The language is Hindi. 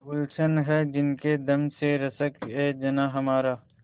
गुल्शन है जिनके दम से रश्कएजनाँ हमारा